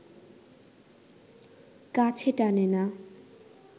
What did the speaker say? কাছে টানে না